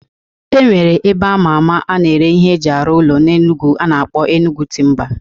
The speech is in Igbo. E nwere ebe ama ama a na-ere ihe eji arụ ụlọ na Enugwu a na-akpọ Enugwu Timba